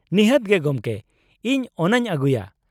ᱱᱤᱦᱟᱹᱛ ᱜᱮ ᱜᱚᱢᱠᱮ! ᱤᱧ ᱚᱱᱟᱧ ᱟᱹᱜᱩᱭᱟ ᱾